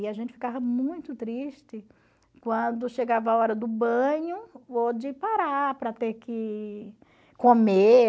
E a gente ficava muito triste quando chegava a hora do banho ou de parar para ter que comer.